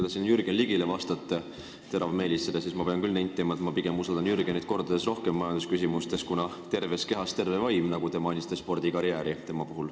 Te siin Jürgen Ligile vastasite teravmeelitsedes, aga ma pean küll nentima, et ma usaldan Jürgenit majandusküsimustes mitu korda rohkem, kuna terves kehas terve vaim, kui meenutada tema spordikarjääri, mida te mainisite.